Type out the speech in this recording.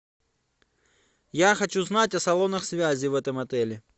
я хочу знать о салонах связи в этом отеле